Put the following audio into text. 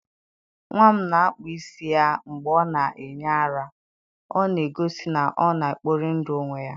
nwa m na-akpụ isi ya mgbe ọ na-enye ara, ọ na-egosi na ọ na-ekpori ndụ onwe ya.